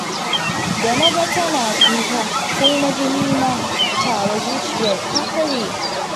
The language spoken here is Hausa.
Da na ga tana kuka, sai na ji ni ma tawa zuciyar ta karye